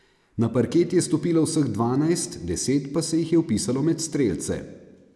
Na parket je stopilo vseh dvanajst, deset pa se jih je vpisalo med strelce.